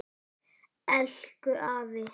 Elku afi.